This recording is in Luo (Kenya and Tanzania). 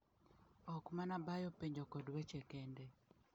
Ok mana bayo penjo kod weche kende.